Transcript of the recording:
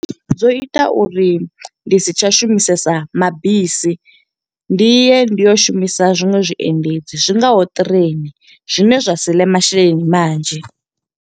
Zwo ita uri ndi si tsha shumisesa mabisi. Ndi ye ndi yo shumisa zwiṅwe zwiendedzi, zwingaho ṱireini zwine zwa siḽe masheleni manzhi.